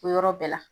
O yɔrɔ bɛɛ la